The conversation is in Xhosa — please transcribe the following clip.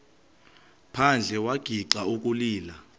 phandle wagixa ukulila